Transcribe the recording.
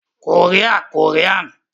Kòríà - Kòríàn